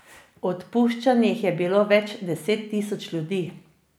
Odpuščenih je bilo več deset tisoč ljudi.